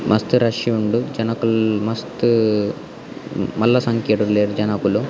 ಮಸ್ತ್ ರಶ್ ಉಂಡು ಜನೊಕುಲ್ ಮಸ್ತ್ ಮಲ್ಲ ಸಂಖ್ಯೆಡ್ ಉಲ್ಲೆರ್ ಜನಕೊಲ್.